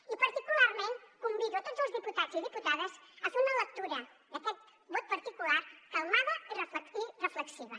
i particularment convido a tots els diputats i diputades a fer una lectura d’aquest vot particular calmada i reflexiva